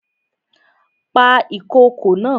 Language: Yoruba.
Pa ìkokò naa!